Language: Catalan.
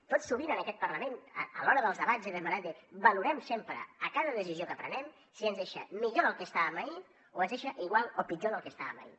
tot sovint en aquest parlament a l’hora dels debats he demanat valorem sempre a cada decisió que prenem si ens deixa millor del que estàvem ahir o ens deixa igual o pitjor del que estàvem ahir